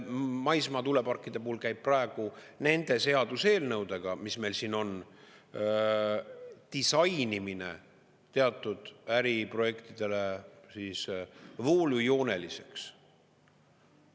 Maismaatuuleparkide puhul käib praegu nende seaduseelnõudega, mis meil siin on, disainimine teatud äriprojektidele voolujooneliseks.